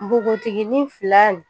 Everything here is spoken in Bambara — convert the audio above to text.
Nbogotikinin fila nin